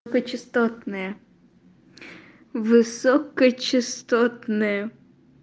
п частотные высокочастотная